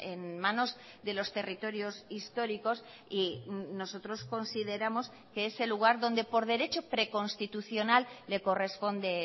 en manos de los territorios históricos y nosotros consideramos que ese lugar donde por derecho preconstitucional le corresponde